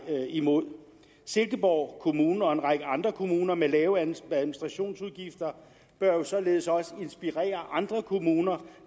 imod silkeborg kommune og en række andre kommuner med lave administrationsudgifter bør jo således også inspirere andre kommuner